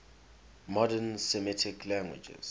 modern semitic languages